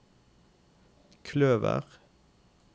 kløver